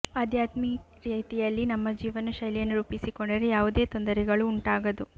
ಆಧ್ಯಾತ್ಮಿ ರೀತಿಯಲ್ಲಿ ನಮ್ಮ ಜೀವನ ಶೈಲಿಯನ್ನು ರೂಪಿಸಿಕೊಂಡರೆ ಯಾವುದೇ ತೊಂದರೆಗಳು ಉಂಟಾಗದು